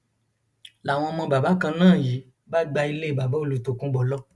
làwọn ọmọ bàbá kan náà yìí bá gba ilé bàbá olùtọkùnbọ lọ